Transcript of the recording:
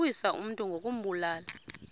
ukuwisa umntu ngokumbulala